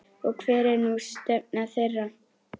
Og hver er nú stefna þeirra?